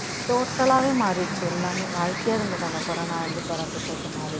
total ஆவே மாறிடுச்சு எல்லாமே வாழ்க்கையே அதுங்களுக்கு அந்த கொரோனா வந்து புரட்டிப் போட்டு மாறி